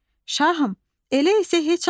Şahım, elə isə heç almaram.